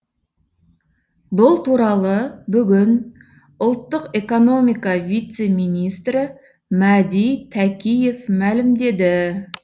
бұл туралы бүгін ұлттық экономика вице министрі мәди тәкиев мәлімдеді